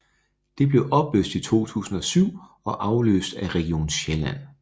Det blev opløst i 2007 og afløst af Region Sjælland